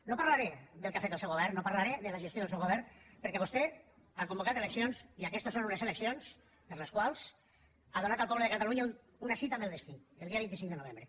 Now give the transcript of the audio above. no parlaré del que ha fet el seu govern no parlaré de la gestió del seu govern perquè vostè ha convocat eleccions i aquestes són unes eleccions per a les quals ha donat al poble de catalunya una cita amb el destí el dia vint cinc de novembre